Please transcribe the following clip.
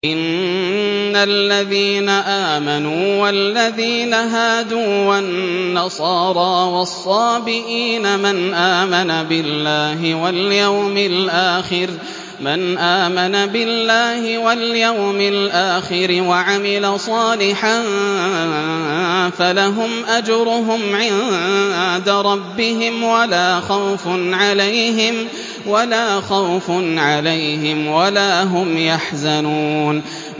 إِنَّ الَّذِينَ آمَنُوا وَالَّذِينَ هَادُوا وَالنَّصَارَىٰ وَالصَّابِئِينَ مَنْ آمَنَ بِاللَّهِ وَالْيَوْمِ الْآخِرِ وَعَمِلَ صَالِحًا فَلَهُمْ أَجْرُهُمْ عِندَ رَبِّهِمْ وَلَا خَوْفٌ عَلَيْهِمْ وَلَا هُمْ يَحْزَنُونَ